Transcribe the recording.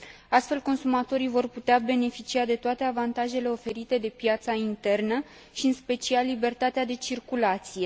Astfel, consumatorii vor putea beneficia de toate avantajele oferite de piața internă și, în special, de libertatea de circulație.